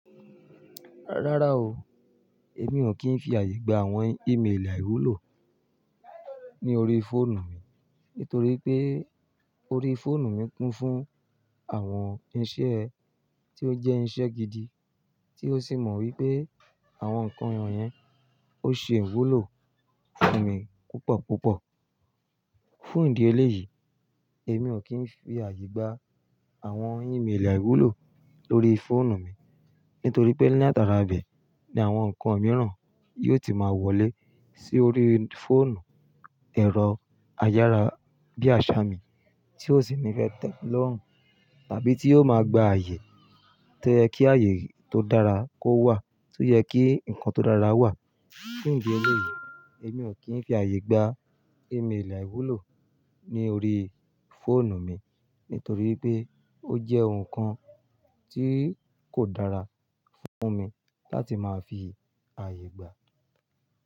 Rárá o, èmi ò kí ń fi ààyè gba àwọn ímélì àìwúlò ní orí fóònù mi. Nítorí pé orí fóònù mi kún fún àwọn iṣẹ́ tí ó jẹ́ iṣẹ́ gidi tí ó sì mọ wípé àwọn ǹkan yẹn ó ṣe ìwúlò fún mi púpọ̀ púpọ̀. Fún ìdí eléyìí, èmi ò kí ń fi ààyè gba àwọn ímélì àìwúlò lórí fóònù mi. Nítorí pé ní àtàràbẹ̀ ni àwọn ǹkan mìíràn yóò ti máa wọlé sí orí fóònù. Ẹ̀rọ ayára bíi àṣà mì tí ó sì nífẹ́ tẹ lórùn tàbí tí yóò máa gba ààyè tó yẹ kí ààyè tó dára kó wà tó yẹ kí ǹkan tó dára wà. Fún ìdí eléyìí, èmi ò kí ń fi ààyè gba ímélì àìwúlò ní orí fóònù mi. Nítorí pé ó jẹ́ ohun kan tí kò dára fún mi láti máa fi ààyè gba.